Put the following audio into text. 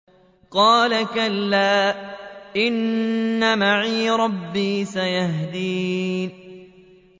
قَالَ كَلَّا ۖ إِنَّ مَعِيَ رَبِّي سَيَهْدِينِ